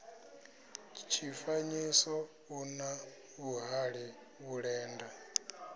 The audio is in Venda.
tshifanyiso u na vhuhali vhulenda